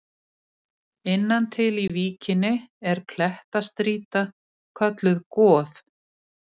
Innan til í víkinni er klettastrýta kölluð Goð.